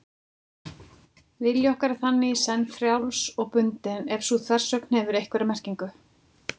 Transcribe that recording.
Vilji okkar er þannig í senn frjáls og bundinn, ef sú þversögn hefur einhverja merkingu.